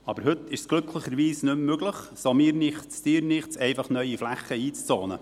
Aber heute ist es glücklicherweise nicht mehr möglich, so mir nichts, dir nichts einfach neue Flächen einzuzonen.